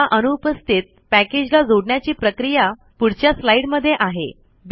या अनुपस्थित पैकेज ला जोडण्याची प्रक्रिया पुढच्या स्लाइड मध्ये आहे